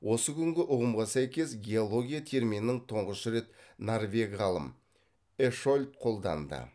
осы күнгі ұғымға сәйкес геология терминін тұңғыш рет норвег ғалым эшольт қолданды